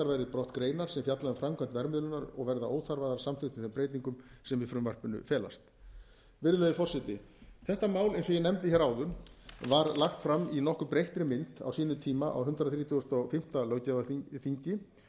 verði brott greinar sem fjalla um framkvæmd verðmiðlunar og verða óþarfar að samþykktum þeim breytingum sem í frumvarpinu felast virðulegi forseti þetta mál eins og ég nefndi hér áðan var lagt fram í nokkuð breyttri mynd á sínum tíma á hundrað þrítugasta og fimmta löggjafarþingi